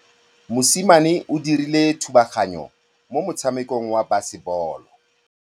Mosimane o dirile thubaganyô mo motshamekong wa basebôlô.